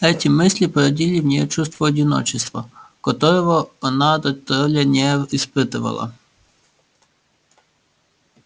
эти мысли породили в ней чувство одиночества которого она дотоле не испытывала